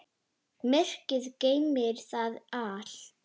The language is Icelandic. Myrkrið geymir það allt.